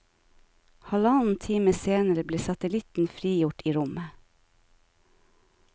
Halvannen time senere ble satellitten frigjort i rommet.